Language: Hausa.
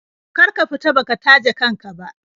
Kar ka fita baka taje kan ka ba.